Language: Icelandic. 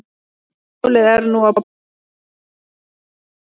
Málið er nú á borði iðnaðarráðuneytisins